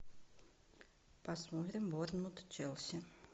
посмотрим борнмут челси